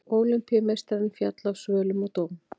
Ólympíumeistarinn féll af svölum og dó